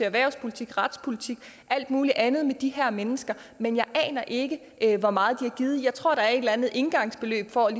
erhvervspolitik retspolitik og alt muligt andet med de her mennesker men jeg aner ikke ikke hvor meget de har givet jeg tror at der er et eller andet engangsbeløb for at